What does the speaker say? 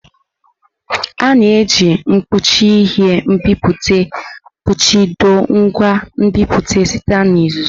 A na-eji mkpuchi ihe nbipute kpuchido ngwa nbipute site na uzuzu.